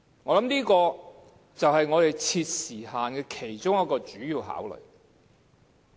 我想這就是設定時限的其中一個主要考慮。